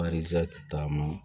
taama